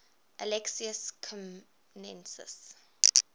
alexius comnenus